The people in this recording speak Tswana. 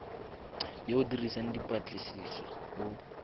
yo o dirang dipatlisiso o